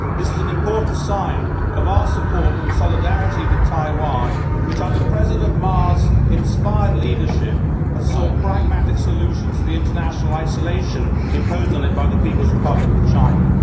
This is an important sign of our support and solidarity with Taiwan which, under President Ma's inspired leadership, has sought pragmatic solutions to the international isolation imposed on it by the People's Republic of China.